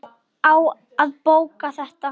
Á að bóka þetta?